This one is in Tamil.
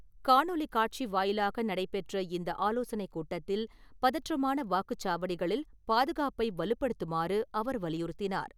காணொலி காட்சி வாயிலாக நடைபெற்ற இந்த ஆலோசனை கூட்டத்தில், பதற்றமான வாக்குச்சாவடிகளில் பாதுகாப்பை வலுப்படுத்துமாறு அவர் வலியுறுத்தினார்.